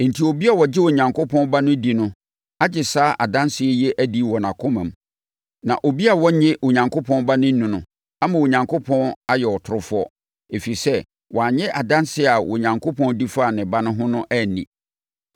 Enti, obi a ɔgye Onyankopɔn Ba no di no agye saa adanseɛ yi adi wɔ nʼakoma mu. Na obi a ɔnnye Onyankopɔn nni no ama Onyankopɔn ayɛ ɔtorofoɔ, ɛfiri sɛ, wannye adanseɛ a Onyankopɔn di faa ne Ba no ho anni.